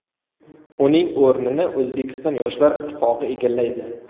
Uning o‘rnini O‘zbekiston Yoshlar ittifoqi egallaydi.